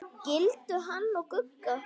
Skildu hann og Gugga?